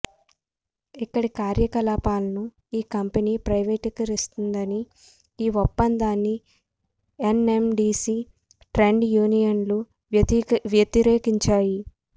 ఇక్కడి కార్యకలాపాలను ఈ కంపెనీ ప్రైవేటీకరిస్తోందని ఈ ఒప్పందాన్ని ఎన్ఎండీసీ ట్రేడ్ యూనియన్లు వ్యతిరేకిం చాయి